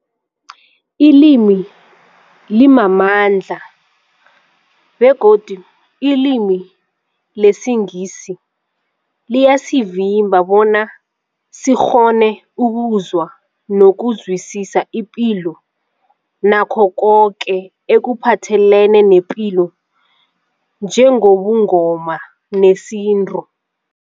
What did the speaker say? Ilimi limamandla begodu ilimi lesiNgisi liyasivimba bona sikghone ukuzwa nokuzwisisa ipilo nakho koke ekuphathelene nepilo njengobuNgoma nesintu.